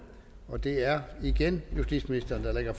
det er igen justitsministeren der lægger